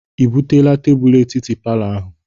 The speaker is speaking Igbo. I buteela tebulu etiti palọ ahụ?